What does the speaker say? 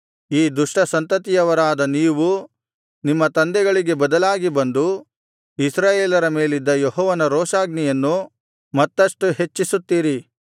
ಈ ದುಷ್ಟ ಸಂತತಿಯವರಾದ ನೀವು ನಿಮ್ಮ ತಂದೆಗಳಿಗೆ ಬದಲಾಗಿ ಬಂದು ಇಸ್ರಾಯೇಲರ ಮೇಲಿದ್ದ ಯೆಹೋವನ ರೋಷಾಗ್ನಿಯನ್ನು ಮತ್ತಷ್ಟು ಹೆಚ್ಚಿಸುತ್ತೀರಿ